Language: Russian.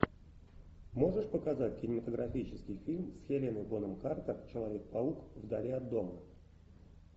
можешь показать кинематографический фильм с хелена бонем картер человек паук вдали от дома